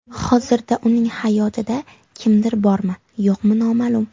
Hozirda uning hayotida kimdir bormi, yo‘qmi noma’lum.